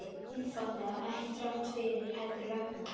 Einfaldlega: ekki þrátt fyrir, heldur vegna.